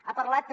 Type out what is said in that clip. ha parlat també